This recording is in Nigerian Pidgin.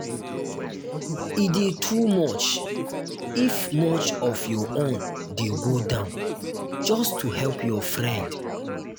e de too much if much if your own de go down just to help your friend